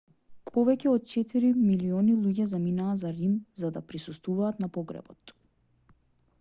повеќе од четири милиони луѓе заминаа за рим за да присуствуваат на погребот